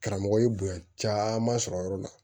Karamɔgɔ ye bonya caman sɔrɔ yɔrɔ la